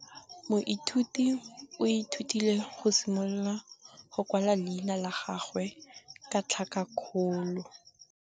Moithuti o ithutile go simolola go kwala leina la gagwe ka tlhakakgolo.